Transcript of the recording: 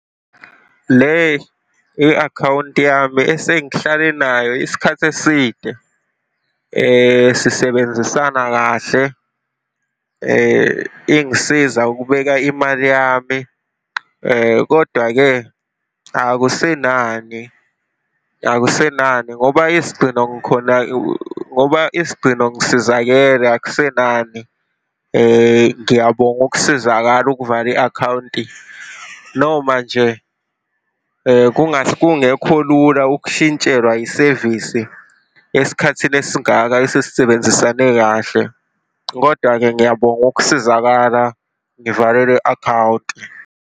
Le i-akhawunti yami esengihlale nayo isikhathi eside, sisebenzisana kahle, ingisiza ukubeka imali yami, kodwa-ke akusenani, akusenani ngoba isigcino ngikhona, ngoba isigcino ngisizakele akusenani. Ngiyabonga ukusizakala, ukuvala i-akhawunti, noma nje kungekho lula ukushintshelwa yisevisi esikhathini esingaka esesisebenzisane kahle. Kodwa-ke ngiyabonga ukusizakala, ngivale le akhawunti.